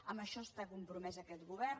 en això està compromès aquest govern